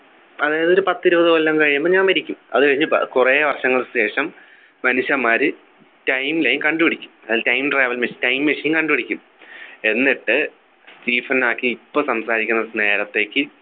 അതായത് ഒരു പത്തിരുപത് കൊല്ലം കഴിയുമ്പോൾ ഞാൻ മരിക്കും അത് കഴിഞ്ഞ് പ കുറെ വർഷങ്ങൾക്കു ശേഷം മനുഷ്യന്മാര് timeline കണ്ടുപിടിക്കും അതിൽ Time travel Time machine കണ്ടുപിടിക്കും എന്നിട്ട് സ്റ്റീഫൻ ഹോക്കിങ് ഇപ്പൊ സംസാരിക്കുന്ന നേരത്തേക്ക്